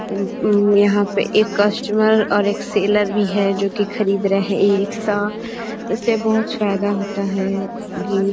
M उम यहाँ पे एक कस्टमर और एक सेलर भी है जोकि खरीद रहे हैं ई रिक्शा उससे बहुत फायेदा होता है ये --